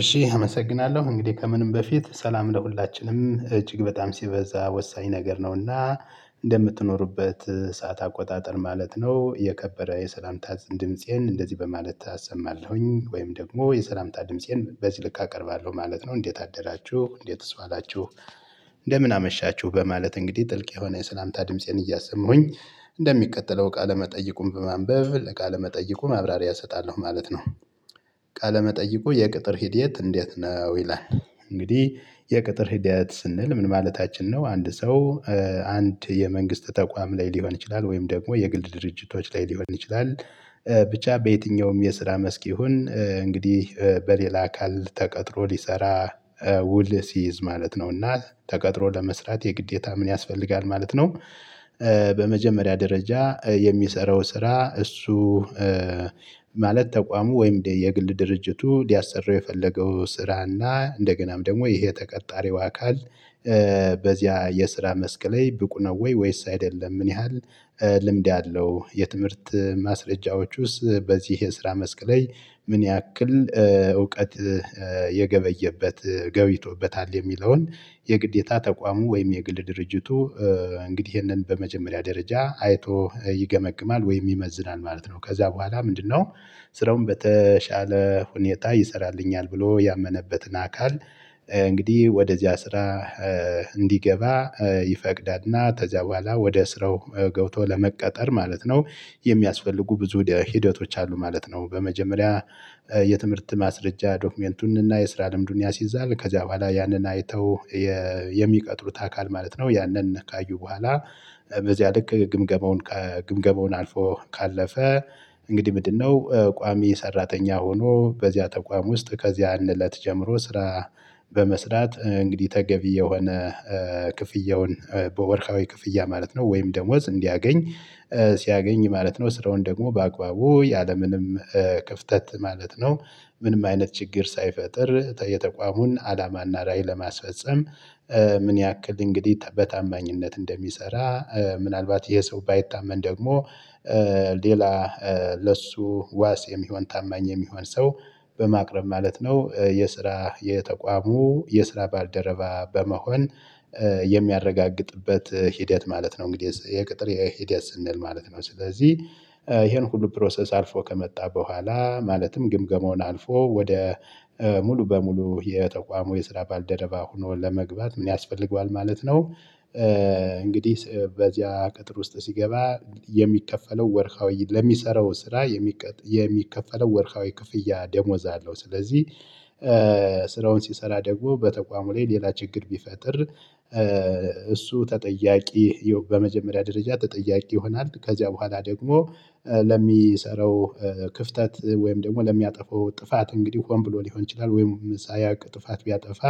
እሺ አመሰግናለሁ። እንግዲህ ከምንም በፊት ሰላም ለሁላችንም። እጅግ በጣም ሲበዛ ወሳኝ ነገር ነው እና እንደምትኖሩበት ሰዓት አቆጣጠር ማለት ነው። የከበረ የሰላምታ ድምፄን እንደዚህ በማለት አሰማለሁኝ። ወይም ደግሞ የሰላምታ ድምፄን በዚህ ልክ አቀርባለሁ። ማለት ነው እንዴት አደራችሁ? እንዴት ዋላችሁ? እንደምን አመሻችሁ? በማለት እንግዲህ ጥልቅ የሆነ የሰላምታ ድምፄን እያሰሙኝ እንደሚቀጥለው እቃ ለመጠየቁም በማንበብ ለቃለመጠይቁ ማብራሪያ እሰጣለሁ። ማለት ነው። ቃለመጠይቁ የቅጥር ሂድየት እንዴት ነው? ይላል እንግዲህ የቅጥር ሂደት ስንል ምን ማለታችን? ነው አንድ ሰው አንድ የመንግስት ተቋም ላይ ሊሆን ይችላል። ወይም ደግሞ የግል ድርጅቶች ላይ ሊሆን ይችላል። ብቻ በየትኛውም የስራ መስክ ይሁን እንግዲህ በሌላ አካል ተቀጥሮ ሊሰራ ውል ሲይዝ ማለት ነው እና ተቀጥሮ ለመስራት የግዴታ ምን ያስፈልጋል። ማለት ነው በመጀመሪያ ደረጃ የሚሰራው ስራ እሱ ማለት ተቋሙ ወይም የግል ድርጅቱ ሊያሰራው የፈለገው ስራ እና እንደገናም ደግሞ ይሄ ተቀጣሪው አካል በዚያ የስራ መስክ ላይ ብቁ ነው ወይ? ወይስ አይደለም? ምን ያህል ልምድ ያለው የትምህርት ማስረጃዎችስ ውስጥ በዚህ የስራ መስክ ላይ ምን ያክል እውቀት የገበየበት ገቢቶበታል የሚለውን የግዴታ ተቋሙ ወይም የግል ድርጅቱ እንግዲህ ይሄንን በመጀመሪያ ደረጃ አይቶ ይገመግማል ወይም ይመዝናል ማለት ነው። ከዛ በኋላ ምንድነው? ስራውን በተሻለ ሁኔታ ይሰራልኛል። ብሎ ያመነበትን አካል እንግዲህ ወደዚያ ስራ እንዲገባ ይፈቅዳል እና ከዚያ በኋላ ወደ ስራው ገብቶ ለመቀጠር። ማለት ነው የሚያስፈልጉ ብዙ ደ ሂደቶች አሉ ማለት ነው። በመጀመሪያ የትምህርት ማስረጃ ዶክመንቱን እና የስራ ልምዱን ያሲዛል ከዚያ በኋላ ያንን አይተው የሚቀጥሩት አካል ማለት ነው ያንን ነካዩ በኋላ በዚያ ልክ ግምገመውን ግምገመውን አልፎ ካለፈ እንግዲህ ምንድነው? ቋሚ ሰራተኛ ሆኖ በዚያ ተቋም ውስጥ ከዚያ አለት ጀምሮ ስራ በመስራት እንግዲህ ተገቢ የሆነ ክፍያውን በወርሃዊ ክፍያ ማለት ነው ወይም ደሞዝ እንዲያገኝ ሲያገኝ ማለት ነው ስራውን ደግሞ በአግባቡቡ ያለምንም ክፍተት ማለት ነው ምንም አይነት ችግር ሳይፈጥር የተቋሙን አላማና ላይ ለማስፈፀም ምን ያክል እንግዲህ በታማኝነት እንደሚሰራ ምናልባት ይሄ ሰው ባይታመን ደግሞ ሌላ ለሱ ዋስ የሚሆን ታማኝ የሚሆን ሰው በማቅረብ ማለት ነው። የስራ የተቋሙ የስራ ባልደረባ በመሆን የሚያረጋግጥበት ሂደት ማለት ነው። እንግዲህ የቅጥር የሂደት ስንል ማለት ነው። ስለዚህ ይሄን ሁሉ ፕሮሰስ አልፎ ከመጣ በኋላ ማለትም ግምገማውን አልፎ ወደ ሙሉ በሙሉ የተቋሙ የስራ ባልደረባ ሆኖ ለመግባት ምን ያስፈልገዋል። ማለት ነው። እንግዲህ በዚያ ቅጥር ውስጥ ሲገባ የሚከፈለው ወርሃዊ ለሚሰራው ስራ የሚከፈለው ወርካዊ ክፍያ ደሞዝ አለው። ስለዚህ ስራውን ሲሰራ ደግሞ በተቋሙ ላይ ሌላ ችግር ቢፈጥር እሱ ተጠያቂ በመጀመሪያ ደረጃ ተጠያቂ ይሆናል። ከዚያ በኋላ ደግሞ ለሚሰረው ክፍተት ወይም ደግሞ ለሚያጠፋው ጥፋት እንግዲህ ሆን ብሎ ሊሆን ይችላል። ወይም ሳያቅ ጥፋት ቢያጠፋ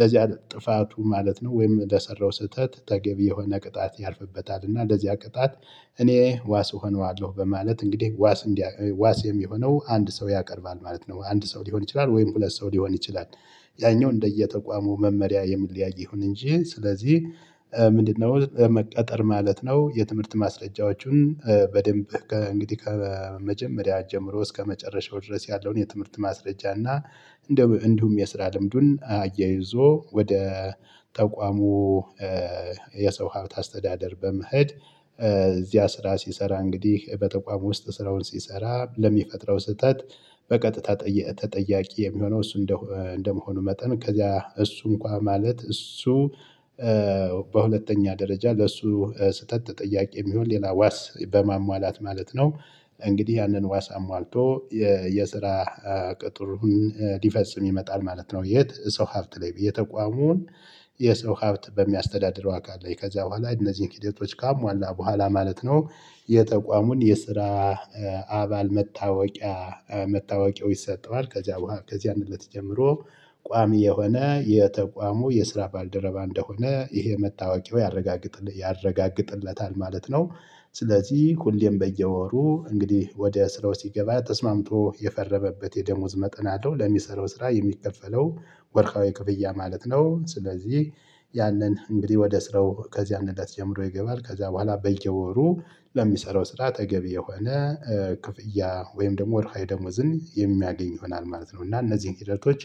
ለዚያ ጥፋቱ ማለት ነው። ወይም እንደሰራው ስህተት ተገቢ የሆነ ቅጣት ያልፍበታል እና እንደዚያ ቅጣት እኔ ዋስ እሆነዋለሁ። በማለት እንግዲህ ዋስ የሚሆነው አንድ ሰው ያቀርባል ማለት ነው። አንድ ሰው ሊሆን ይችላል? ወይም ሁለት ሰው ሊሆን ይችላል። ያኛው እንደየተቋሙ መመሪያ የሚለያይ ይሁን እንጂ ስለዚህ ምንድነው? መቀጠር ማለት ነው የትምህርት ማስረጃዎቹን በደንብ ከእንግዲህ ከመጀመሪያ ጀምሮ እስከመጨረሻው ድረስ ያለውን የትምህርት ማስረጃ እና እንደውም የስራ ልምዱን አያይዞ ወደ ተቋሙ የሰው ሀብት አስተዳደር በመሄድ እዚያ ስራ ሲሰራ እንግዲህ በተቋም ውስጥ ስራውን ሲሰራ ለሚፈጥረው ስህተት በቀጥታ ተጠያቂ የሚሆነው እሱ እንደመሆኑ መጠን ከዚያ እሱ እንኳን ማለት። እሱ በሁለተኛ ደረጃ ለሱ ስህተት ተጠያቂ የሚሆን ሌላ ዋስ በማሟላት ማለት ነው። እንግዲህ ያንን ዋስ አሟልቶ የየስራ ቅጥሩን ሊፈጽም ይመጣል። ማለት ነው። የት? ሰው ሀብት ላይ። የተቋሙን የሰው ሀብት በሚያስተዳድረው አካል ላይ ከዚያ በኋላ እነዚህን ሂደቶች ካሟላ በኋላ ማለት ነው። የተቋሙን የስራ አባል መታወቂያ መታወቂያው ይሰጠዋ። ከዚያ በኋላ ከዚያ እንለት ጀምሮ ቋሚ የሆነ የተቋሙ የስራ ባልደረባ እንደሆነ ይሄ መታወቂያው ያረጋግጥለታል። ማለት ነው ስለዚህ ኩንዴም በየወሩ እንግዲህ ወደ ስራው ሲገባ ተስማምቶ የፈረመበት የደሞዝ መጠን አለው። ለሚሰራው ስራ የሚከፈለው ወርቃዊ ክፍያ ማለት ነው ስለዚህ ያንን እንግዲህ ወደ ስራው ከዚህ እለት ጀምሮ ይገባል። ከዛ በኋላ በየወሩ ለሚሰራው ስራ አጠገብ የሆነ ክፍያ ወይም ደግሞ ወርሃይ ደሞዝን የሚያገኝ ይሆናል። ማለት ነው እና እነዚህን ሂደቶች